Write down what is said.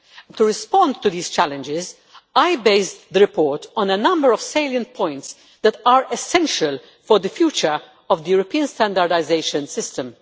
To respond to these challenges, I based the report on a number of salient points that are essential for the future of the European standardisation system.